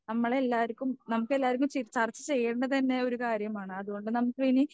നമ്മളെല്ലാർക്കും നമുക്കെല്ലാർക്കും ചർച്ച ചെയ്യേണ്ടത് തന്നെ ഒരു കാര്യമാണ് അതുകൊണ്ട് നമ്മളിനി